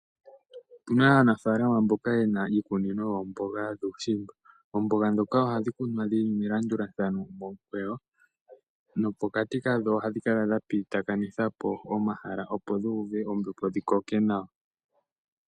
Otu na aanafalama mboka ye na iikunino yoomboga dhuushimba. Oomboga ndhoka ohadhi kunwa dhi li melandulathano momukweyo nopokati kadho ohadhi kala dha pitithilathana po omahala, opo dhu uve ombepo dhi koke nawa.